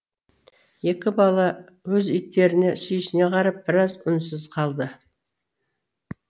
екі бала өз иттеріне сүйсіне қарап біраз үнсіз қалды